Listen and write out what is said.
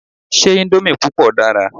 Ṣé íńdómì púpọ̀ dára?